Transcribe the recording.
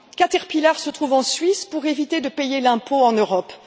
Caterpillar se trouve en Suisse pour éviter de payer l'impôt en Europe.